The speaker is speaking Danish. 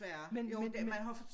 Men men men